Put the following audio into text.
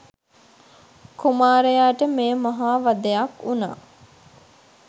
කුමාරයාට මෙය මහා වධයක් වුණා.